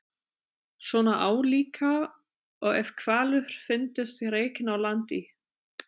Svona álíka og ef hvalur fyndist rekinn á land í